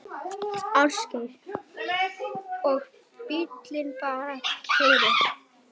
Ásgeir: Og bíllinn bara keyrir?